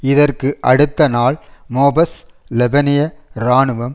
இதற்கு அடுத்த நாள் மோபஸ் லெபனிய இராணுவம்